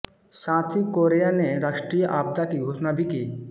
साथ ही कोरेया ने राष्ट्रीय आपदा की घोषणा भी की